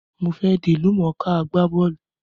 Mo fe dí ìlúmọ̀ká agbá bọ́lù